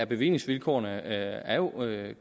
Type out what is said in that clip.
bevillingsvilkårene er jo